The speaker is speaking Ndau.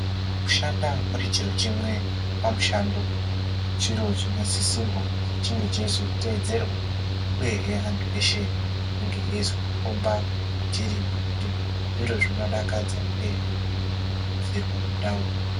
Kushanda muri chiro chimwe pamushando chiro chinosisirwa kuzi chinge cheizotedzerwa uyehe antu eshe ange eizokomba kwechiri kuti zviro zvinodakadza uyehe zvinokurudzirwa mundau.